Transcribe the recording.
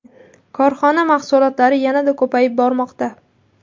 Korxona mahsulotlari yanada ko‘payib bormoqda.